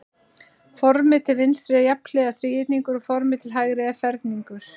Formið til vinstri er jafnhliða þríhyrningur og formið til hægri er ferningur.